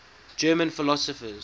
german philosophers